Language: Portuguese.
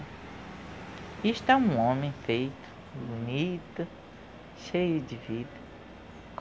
E está um homem feito, bonito, cheio de vida.